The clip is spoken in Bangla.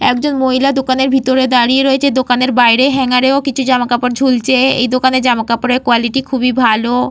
একজন মহিলা দোকানের ভেতরে দাঁড়িয়ে রয়েছে। দোকানের বাইরে হাঙ্গার ও কিছু জামাকাপড় ঝুলছে। এই দোকানে জামাকাপড়ের কোয়ালিটি খুবই ভালো।